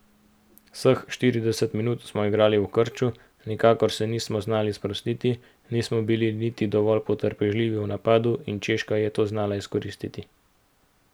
Vseh štirideset minut smo igrali v krču, nikakor se nismo znali sprostiti, nismo bili niti dovolj potrpežljivi v napadu in Češka je to znala izkoristiti.